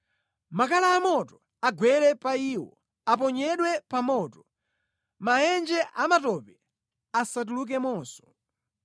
Makala amoto agwere pa iwo; aponyedwe pa moto, mʼmaenje amatope, asatulukemonso.